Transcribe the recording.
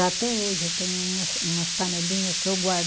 Até hoje eu tenho umas umas panelinha que eu guardo.